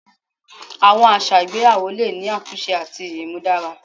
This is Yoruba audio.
Awọn aṣa igbeyawo le ni atunṣe ati imudara